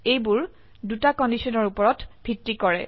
এইবোৰ দুটি কন্ডিশনৰ উপৰত ভিত্তি কৰে